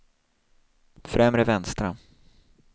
främre vänstra